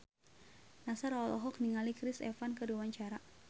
Nassar olohok ningali Chris Evans keur diwawancara